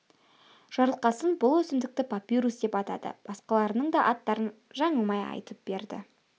жарылқасын бұл өсімдікті папирус деп атады басқаларының да аттарын жаңылмай айтып берді